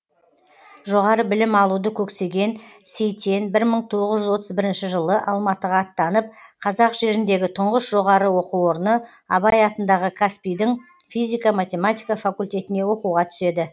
жоғары білім алуды көксеген сейтен бір мың тоғыз жүз отыз бірінші жылы алматыға аттанып қазақ жеріндегі тұңғыш жоғары оқу орны абай атындағы қазпи дің физика математика факультетіне оқуға түседі